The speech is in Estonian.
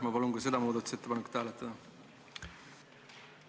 Ma palun ka seda muudatusettepanekut hääletada!